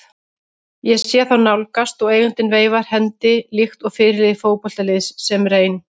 Ég sé þá nálgast og eigandinn veifar hendi líkt og fyrirliði fótboltaliðs sem reyn